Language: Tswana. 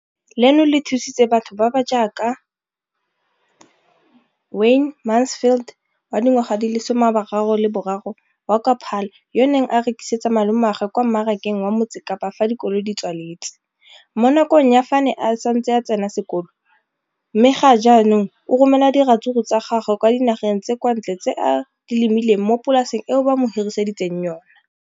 leno le thusitse batho ba ba jaaka Wayne Mansfield, 33, wa kwa Paarl, yo a neng a rekisetsa malomagwe kwa Marakeng wa Motsekapa fa dikolo di tswaletse, mo nakong ya fa a ne a santse a tsena sekolo, mme ga jaanong o romela diratsuru tsa gagwe kwa dinageng tsa kwa ntle tseo a di lemileng mo polaseng eo ba mo hiriseditseng yona.